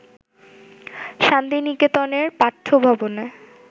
শান্তিনিকেতনের পাঠ্যভবনে